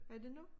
Er det nu?